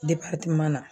na